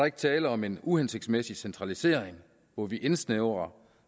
ikke tale om en uhensigtsmæssig centralisering hvor vi indsnævrer